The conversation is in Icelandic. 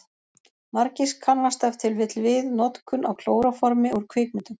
Margir kannast ef til vill við notkun á klóróformi úr kvikmyndum.